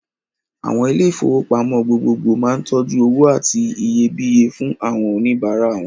Àwọn ilé-ìfowópamọ́ gbogbogbò máa ń tọ́jú owó àti iyebíye fún àwọn oníbàárà wọn.